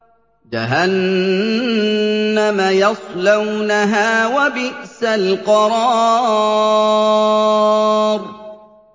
جَهَنَّمَ يَصْلَوْنَهَا ۖ وَبِئْسَ الْقَرَارُ